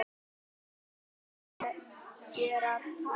Okkur fannst við vera algerar pæjur